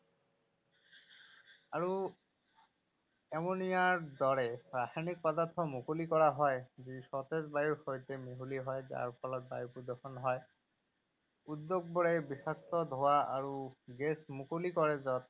আৰু এমোনিয়াৰ দৰে ৰাসায়নিক পদাৰ্থ মুকলি কৰা হয় যি সতেজ বায়ুৰ সৈতে মিহলি হয় যাৰ ফলত বায়ু প্ৰদূষণ হয়। উদ্যোগবোৰে বিষাক্ত ধোঁৱা আৰু গেছ মুকলি কৰে য’ত